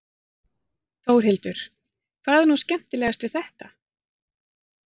Þórhildur: Hvað er nú skemmtilegast við þetta?